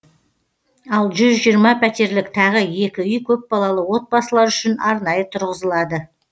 ал жүз жиырма пәтерлік тағы екі үй көпбалалы отбасылар үшін арнайы тұрғызылады